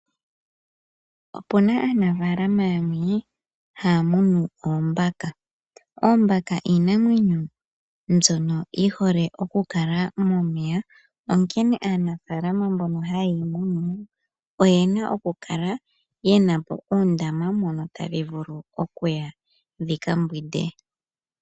Opuna aanafalama yamwe haya munu oombaka. Oombaka iinamwenyo mbyono yihole okukala momeya onkene aanafalama mbono hayeyi munu oyena okukala yenapo uundama mono tadhi vulu okuya dhika mbwinde.